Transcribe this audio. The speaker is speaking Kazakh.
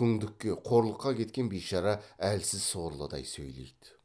күңдікке қорлыққа кеткен бишара әлсіз сорлыдай сөйлейді